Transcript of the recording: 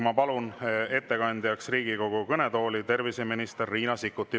Ma palun ettekandeks Riigikogu kõnetooli terviseminister Riina Sikkuti.